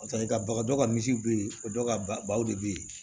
Paseke ka bagan dɔw ka misiw bɛ ye o dɔw ka baw de bɛ yen